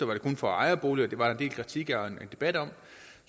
var for ejerboliger hvilket der var en del kritik af og debat om